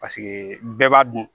Paseke bɛɛ b'a dun